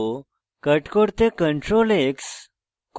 copy করতে ctrl + c